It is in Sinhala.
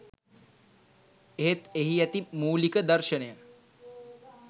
එහෙත් එහි ඇති මූලික දර්ශනය